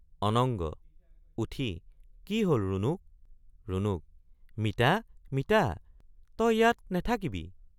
অনঙ্গ— উঠি কি হল ৰুণুক৷ ৰুণুক—মিতা মিতা তয় ইয়াত নেথাকিবি।